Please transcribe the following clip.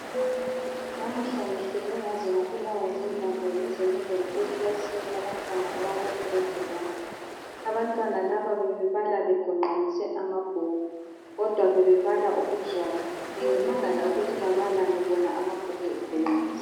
Namuhla ngihleke ngaze ngabulawa zimbhambo ngize ngingene ekilasini yabantwana abaku giledi wani. Abantwana laba bebebala begonqamise amabhuku kodwa bebebala okuzwayo, bengimangala ukuthi bababalani wona amabhuku egonqanisiwe.